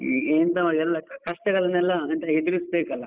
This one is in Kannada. ಎಲ್ಲಾ ಕಷ್ಟಗಳನೆಲ್ಲಾ ಎಂತ ಎದುರಿಸ್ಬೇಕಲಾ.